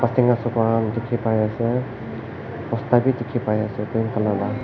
Tinnga sukha khan dekhe pa ase bosta beh dekhe pai ase green colour la.